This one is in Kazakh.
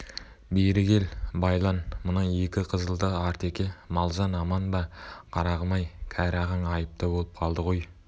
бері кел байлан мына екі қызылды артеке мал-жан аман ба қарағым-ай кәрі ағаң айыпты болып қалды ғой